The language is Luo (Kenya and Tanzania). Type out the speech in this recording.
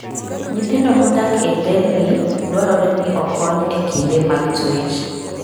Nyithindo modak e nderni dwarore ni okony e kinde mag twech.